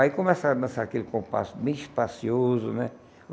Aí começava a dançar aquele compasso bem espacioso, né?